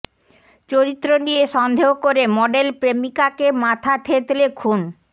চরিত্র নিয়ে সন্দেহ করে মডেল প্রেমিকাকে মাথা থেঁতলে খুন